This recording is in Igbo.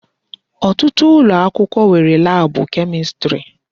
Ọtụtụ ụlọakwụkwọ nwere laabụ Kemistri.